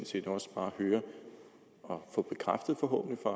set også bare høre og få bekræftet forhåbentlig fra